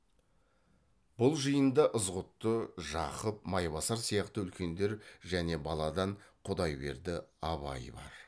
бұл жиында ызғұтты жақып майбасар сияқты үлкендер және баладан құдайберді абай бар